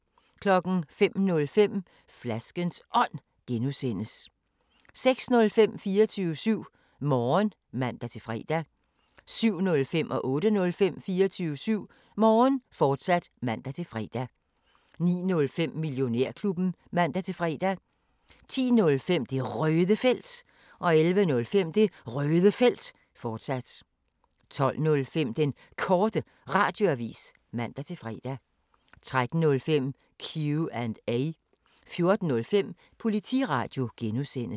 05:05: Flaskens Ånd (G) 06:05: 24syv Morgen (man-fre) 07:05: 24syv Morgen, fortsat (man-fre) 08:05: 24syv Morgen, fortsat (man-fre) 09:05: Millionærklubben (man-fre) 10:05: Det Røde Felt 11:05: Det Røde Felt, fortsat 12:05: Den Korte Radioavis (man-fre) 13:05: Q&A 14:05: Politiradio (G)